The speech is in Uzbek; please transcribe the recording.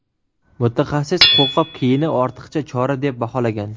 Mutaxassis qo‘lqop kiyini ortiqcha chora deb baholagan.